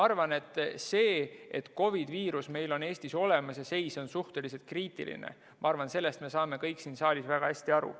Sellest, et COVID-i viirus on meil Eestis olemas ja seis on suhteliselt kriitiline, me saame kõik siin saalis väga hästi aru.